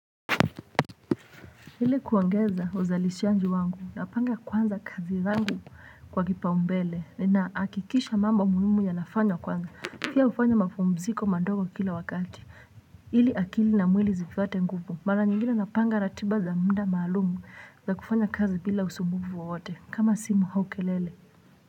Ili kuongeza uzalishaji wangu napanga kwanza kazi zangu kwa kipa umbele nahakikisha mambo muhimu yanafanywa kwanza pia hufanya mapumziko mandogo kila wakati ili akili na mwili zipate nguvu mara nyingine napanga ratiba za muda maalumu za kufanya kazi bila usumbuvu wowote kama simu haukelele.